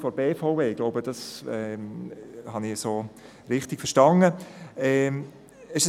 ich hoffe, dass ich es richtig verstanden habe.